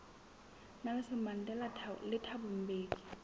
nelson mandela le thabo mbeki